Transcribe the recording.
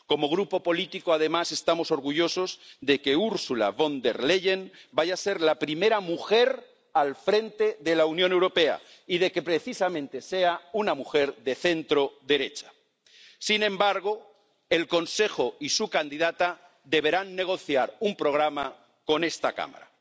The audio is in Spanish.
Como Grupo político, además, estamos orgullosos de que Ursula von der Leyen vaya a ser la primera mujer al frente de la Unión Europea y de que, precisamente, sea una mujer de centroderecha. Sin embargo, el Consejo y su candidata deberán negociar un programa con esta Cámara.